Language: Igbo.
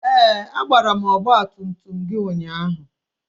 Ee! A gbara ọgba tum tum gị ụnyaahụ.